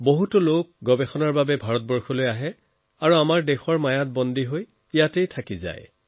বহু লোকে ইয়াৰ সন্ধানত ভাৰতলৈ আহে আৰু চিৰদিনৰ বাবে ইয়াতে থাকি যায়